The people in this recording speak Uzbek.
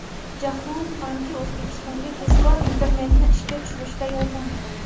Jahon banki O‘zbekistonga tezkor internetni ishga tushirishda yordam beradi.